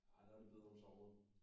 Ah der er det bedre om sommeren